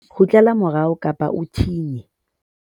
kgutlela morao kapa o thinye